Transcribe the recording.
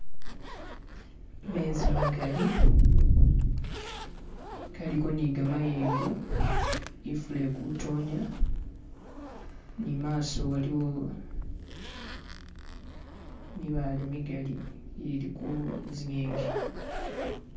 mezi magali galiko ni gamayengo ifula ili kutonya ni maso waliwo mibaale migali giliku zingingi